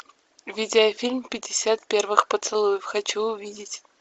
видеофильм пятьдесят первых поцелуев хочу увидеть